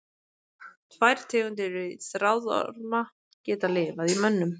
Tvær tegundir þráðorma geta lifað í mönnum.